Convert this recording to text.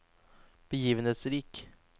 begivenhetsrik